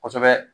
Kosɛbɛ